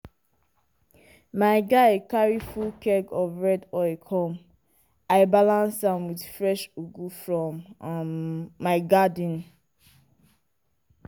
my guy carry full keg of red oil come i balance am with fresh ugu from um my garden.